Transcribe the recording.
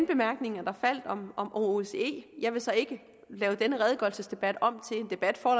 bemærkninger der faldt om om osce jeg vil så ikke lave denne redegørelsesdebat om til en debat for